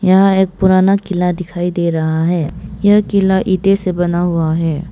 यहां एक पुराना किला दिखाई दे राहा है यह किला ईंटे से बना हुआ है।